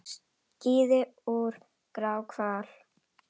Skíði úr gráhval